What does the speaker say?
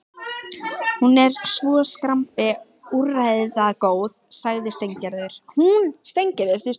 Hún er svo skrambi úrræðagóð, hún Steingerður.